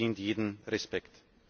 verdient jeden Respekt.